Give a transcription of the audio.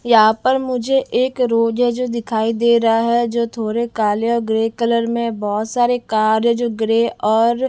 यहां पर मुझे एक रोज है जो दिखाई दे रहा है जो थोड़े काले और ग्रे कलर में बहुत सारे कार है जो ग्रे और--